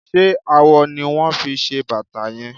Ṣé awọ ni wón fi ṣe bàtà yẹn?